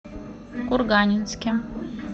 курганинске